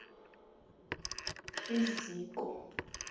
iziko